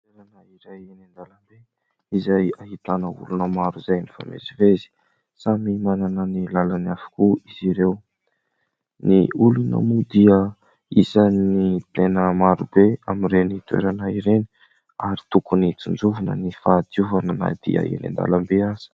Toerana iray eny an-dalambe izay ahitana olona maro izay mifamezivezy. Samy manana ny lalany avokoa izy ireo. Ny olona moa dia isan'ny tena maro be amin'ireny toerana ireny ary tokony tsinjovina ny fahadiovana na dia eny an-dalambe aza.